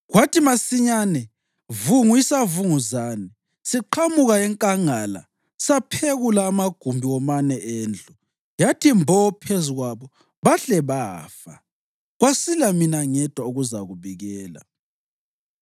kwathi masinyane vungu isavunguzane siqhamuka enkangala saphekula amagumbi womane endlu. Yathi mbo phezu kwabo bahle bafa, kwasila mina ngedwa ukuzakubikela!”